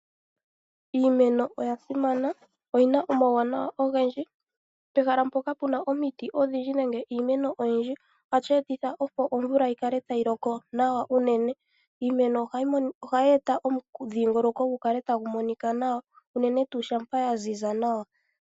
Iimeno oya simana. Oyi na omauwanawa ogendji. Pehala mpoka pu na omiti odhindji nenge iimeno oyindji ohashi etitha opo omvula yi kale tayi loko nawa unene. Iimeno ohayi eta omudhingoloko gu kale tagu monika nawa unene tuu shampa ya ziza nawa.